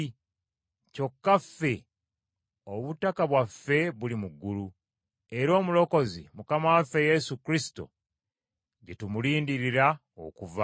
Kyokka ffe obutaka bwaffe buli mu ggulu, era Omulokozi, Mukama waffe Yesu Kristo, gye tumulindirira okuva.